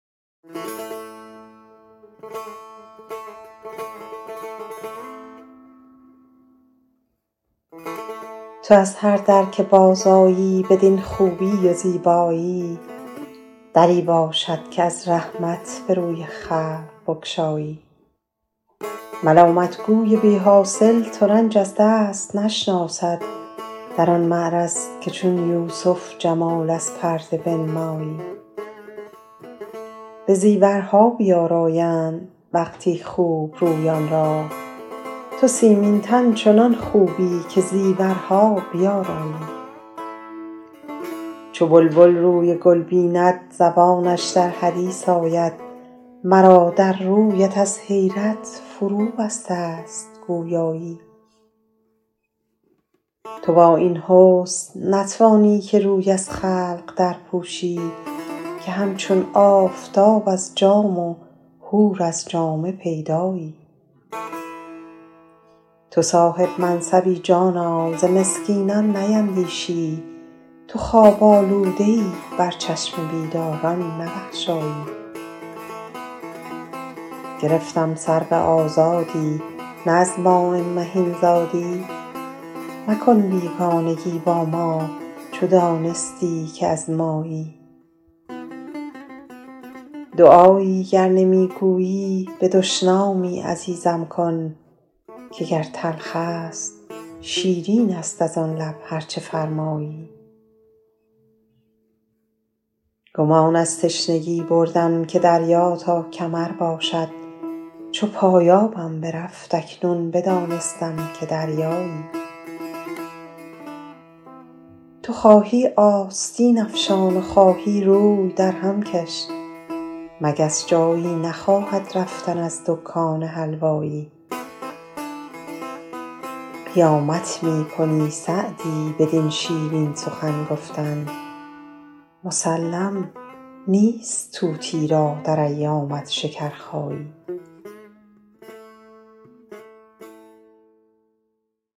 تو از هر در که بازآیی بدین خوبی و زیبایی دری باشد که از رحمت به روی خلق بگشایی ملامت گوی بی حاصل ترنج از دست نشناسد در آن معرض که چون یوسف جمال از پرده بنمایی به زیورها بیآرایند وقتی خوب رویان را تو سیمین تن چنان خوبی که زیورها بیآرایی چو بلبل روی گل بیند زبانش در حدیث آید مرا در رویت از حیرت فروبسته ست گویایی تو با این حسن نتوانی که روی از خلق درپوشی که همچون آفتاب از جام و حور از جامه پیدایی تو صاحب منصبی جانا ز مسکینان نیندیشی تو خواب آلوده ای بر چشم بیداران نبخشایی گرفتم سرو آزادی نه از ماء مهین زادی مکن بیگانگی با ما چو دانستی که از مایی دعایی گر نمی گویی به دشنامی عزیزم کن که گر تلخ است شیرین است از آن لب هر چه فرمایی گمان از تشنگی بردم که دریا تا کمر باشد چو پایانم برفت اکنون بدانستم که دریایی تو خواهی آستین افشان و خواهی روی درهم کش مگس جایی نخواهد رفتن از دکان حلوایی قیامت می کنی سعدی بدین شیرین سخن گفتن مسلم نیست طوطی را در ایامت شکرخایی